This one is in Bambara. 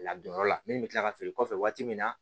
Ladonyɔrɔ la min bɛ kila ka feere kɔfɛ waati min na